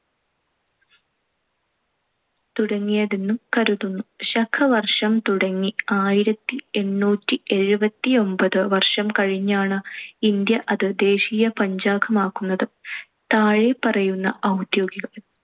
തുടങ്ങിയതെന്ന് കരുതുന്നു. ശകവർഷം തുടങ്ങി ആയിരത്തിഎണ്ണൂറ്റി എഴുപത്തിയൊമ്പത്ത് വർഷം കഴിഞ്ഞാണ്‌, ഇന്ത്യ അത് ദേശീയ പഞ്ചാംഗമാക്കുന്നത്. താഴെപ്പറയുന്ന ഔദ്യോഗിക